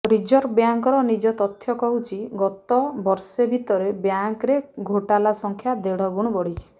reserve ବ୍ୟାଙ୍କର ନିଜ ତଥ୍ୟ କହୁଛି ଗତ ବର୍ଷେ ଭିତରେ ବ୍ୟାଙ୍କରେ ଘୋଟାଲା ସଂଖ୍ୟା ଦେଢ ଗୁଣ ବଢିଛି